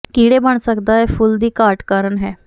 ਕੀੜੇ ਬਣ ਸਕਦਾ ਹੈ ਫੁੱਲ ਦੀ ਘਾਟ ਕਾਰਨ ਹੈ